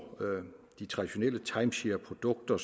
de traditionelle timeshareprodukter